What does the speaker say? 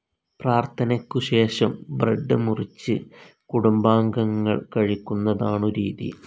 പ്രാർഥനയ്ക്കുശേഷം bread മുറിച്ച് കുടുംബാംഗങ്ങൾ കഴിക്കുന്നതാണു രീതി.